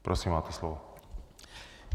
Prosím, máte slovo.